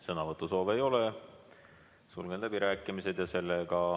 Sõnavõtusoove ei ole, sulgen läbirääkimised.